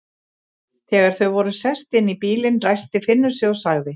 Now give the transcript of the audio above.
Þegar þau voru sest inn í bílinn, ræskti Finnur sig og sagði